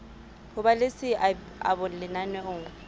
ho ba le seabo lenaneong